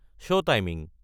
show timing